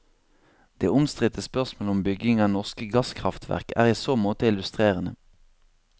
Det omstridte spørsmål om bygging av norske gasskraftverk er i så måte illustrerende.